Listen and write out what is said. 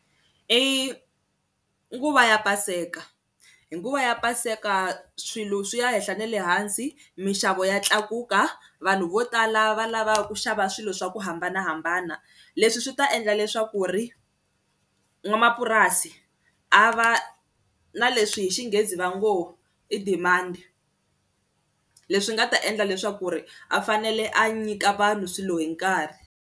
I nguva ya paseka, hi nguva ya paseka swilo swi ya henhla ne le hansi minxavo ya tlakuka vanhu vo tala va lava ku xava swilo swa ku hambanahambana leswi swi ta endla leswaku ri n'wamapurasi a va na leswi hi xinghezi va ngo i demand leswi nga ta endla leswaku ri a fanele a nyika vanhu swilo hi nkarhi.